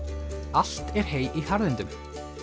allt er hey í harðindum